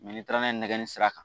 n'i taara n'a nɛge sira kan